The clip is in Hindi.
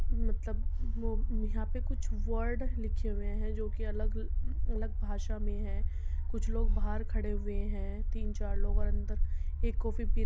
मतलब वो यहाँ पे कुछ वर्ड लिखे हुए है। जो कि अलग -अलग भाषा में है। कुछ लोग बाहर खड़े हुए है। तीन चार लोग और अन्दर एक कॉफ़ी पी --